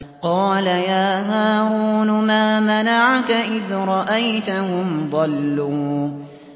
قَالَ يَا هَارُونُ مَا مَنَعَكَ إِذْ رَأَيْتَهُمْ ضَلُّوا